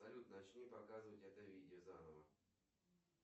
салют начни показывать это видео заново